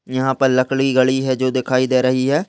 यहाँ पर लकड़ी गड़ी है जो दिखाई दे रही है।